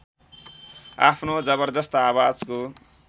आफ्नो जबरजस्त आवाजको